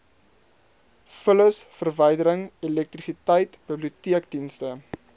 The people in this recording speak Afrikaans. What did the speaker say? vullisverwydering elektrisiteit biblioteekdienste